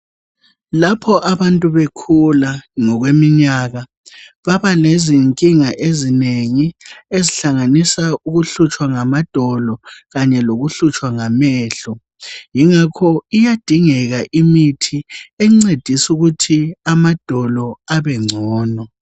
Lapho abantu bekhula ngokweminyaka babalezinkinga ezinengi ezihlanganisa ukuhlutshwa ngamadolo Kanye lokuhlutshwa ngamehlo yingakho iyadingeka imithi encedisa ukuthi amadolo abengcono.